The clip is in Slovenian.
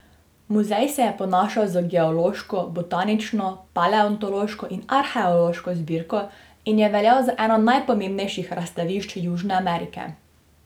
Muzej se je ponašal z geološko, botanično, paleontološko in arheološko zbirko in je veljal za eno najpomembnejših razstavišč Južne Amerike.